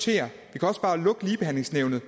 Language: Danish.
kan også bare lukke ligebehandlingsnævnet